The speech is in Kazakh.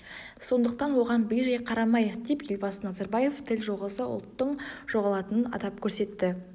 сондықтан оған бей-жай қарамайық деп елбасы назарбаев тіл жоғалса ұлттың жоғалатынын атап көрсетті